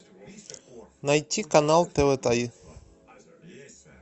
найти канал тэ вэ три